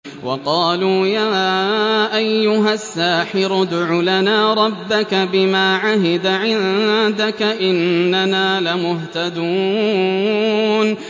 وَقَالُوا يَا أَيُّهَ السَّاحِرُ ادْعُ لَنَا رَبَّكَ بِمَا عَهِدَ عِندَكَ إِنَّنَا لَمُهْتَدُونَ